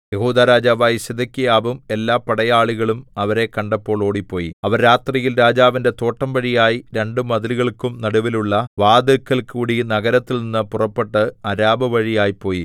യെഹൂദാ രാജാവായ സിദെക്കീയാവും എല്ലാ പടയാളികളും അവരെ കണ്ടപ്പോൾ ഓടിപ്പോയി അവർ രാത്രിയിൽ രാജാവിന്റെ തോട്ടം വഴിയായി രണ്ടു മതിലുകൾക്കും നടുവിലുള്ള വാതില്ക്കൽകൂടി നഗരത്തിൽനിന്നു പുറപ്പെട്ട് അരാബ വഴിയായി പോയി